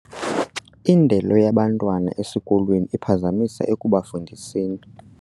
Indelo yabantwana esikolweni iphazamisa ekubafundiseni.